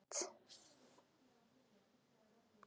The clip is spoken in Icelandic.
Daðína, opnaðu dagatalið mitt.